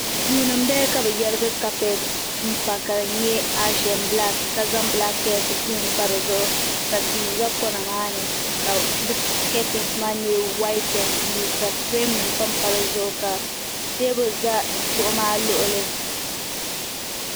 Duu ni n bala ka bi yarigi kapɛt n pa ka di nyɛ aash n bilaak ka zaŋ bilanket gbuni pa di zuɣu ka tia za kɔna maa ni ka di kɛtins maa nyɛ whayite n buluu ka firɛm nima pan pa di zuɣu ka teebuli za kuɣu maa luɣuli.